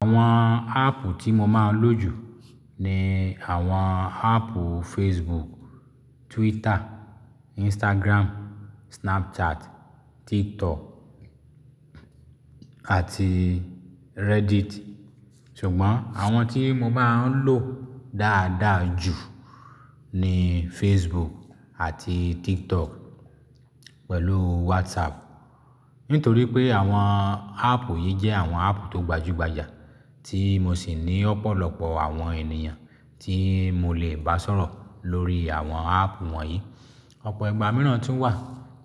Àwọn áàpù tí mo máa ń lò jù ni àwọn áàpù Facebook, Twitter, Instagram, Snapchat, TikTok àti Reddit. Ṣùgbọ́n àwọn tí mo máa ń lò dáadáa jù ni Facebook àti TikTok pẹ̀lú WhatsApp. Nítorí pé àwọn áàpù yìí jẹ́ àwọn áàpù tó gbajúgbajà tí mo sì ní ọ̀pọ̀lọpọ̀ àwọn ènìyàn tí mo lè bá sọ̀rọ̀ lórí àwọn áàpù wọ̀nyí. Ọ̀pọ̀ ìgbà mìíràn tún wà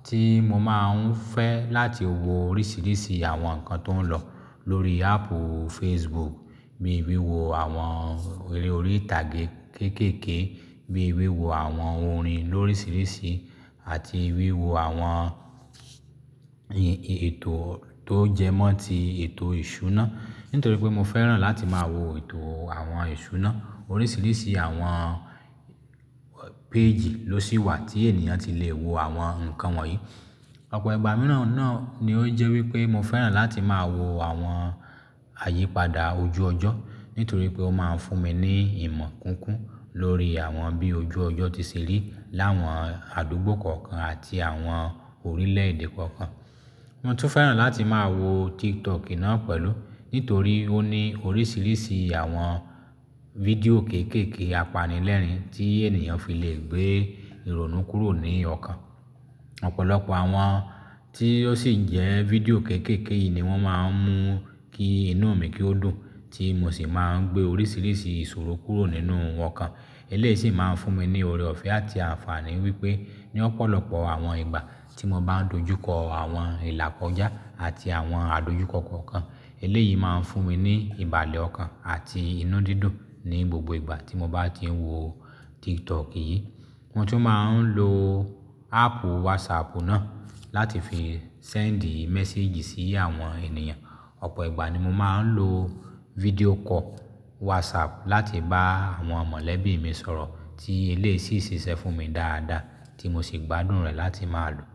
tí mo máa ń fẹ́ láti wo oríṣiríṣi àwọn nǹkan tó ń lọ lórí áàpù Facebook bí i wíwo àwọn eré orí ìtàgé kéékèèké, bí i wíwo àwọn orin lóríṣiríṣi àti wíwo àwọn ètò tó jẹmọ́ ti ètò ìṣúná. Nítorí pé mo fẹ́ràn láti máa wo ètò àwọn ìṣúná. Oríṣiríṣi àwọn péèjì ló sì wà tí ènìyàn ti le wo àwọn nǹkan wọ̀nyí. Ọ̀pọ̀ ìgbà mìíràn náà ni ó jẹ́ wípé mo fẹ́ràn láti máa wo àwọn àyípadà ojú ọjọ́. Nítorí pé ó máa ń fún mi ní ìmọ̀ kúnkún lórí àwọn bí ojú ọjọ́ ti ṣe rí láwọn àdúgbò kọ̀ọ̀kan àti àwọn orílẹ̀-èdè kọ̀ọ̀kan. Mo tún fẹ́ràn láti máa wo TikTok náà pẹ̀lú nítorí ó ní oríṣiríṣi àwọn vídeò kéékèèké apanilẹ́rìn tí ènìyàn fi lè gbé ìrònú kúrò ní ọkàn. Ọ̀pọ̀lọpọ̀ àwọn tí ó sì jẹ́ video kéékèèké yìí ni wọ́n máa ń mú kí inú mi kí ó dùn tí mo sì máa ń gbé oríṣiríṣi ìṣòro kúrò nínú okan. Eléyìí sì máa ń fún mi ní oore ọ̀fẹ́ àti àǹfààní wípé ní ọ̀pọ̀lọpọ̀ àwọn ìgbà tí mo bá ń dojú kọ àwọn ìlà kọjá àti àwọn àdójúko kokan, eléyìí máa ń fún mi ní ìbàlẹ̀ ọkàn àti inú dídùn ní gbogbo ìgbà tí mo bá ti ń wo TikTok yìí. Mo tún máa ń lo áàpù WhatsApp náà láti fi sẹ́ǹdì méséèjì sí àwọn ènìyàn. Ọ̀pọ̀ ìgbà ni mo máa ń lo video call WhatsApp láti bá àwọn mọ̀lẹ́bí mi sọ̀rọ̀ tí eléyìí sì ṣe fún mi dáadáa tí mo sì gbádùn rẹ̀ láti máa lò.